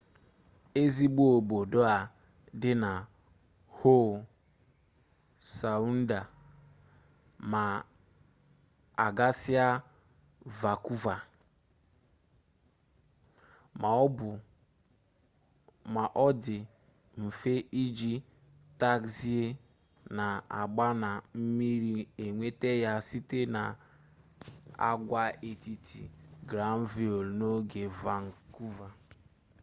ezigbo obodo a dị na howe sawụndụ ma a gasịa vankuva ma ọ dị mfe iji tagzi na-agba na mmiri enweta ya site n'agwaetiti granville n'ogbe vankuva